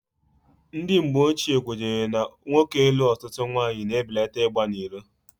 Ndị mgbochie kwenyere na nwoke ịlụ ọtụtụ nwaanyị na-ebelata ịgba n'iro.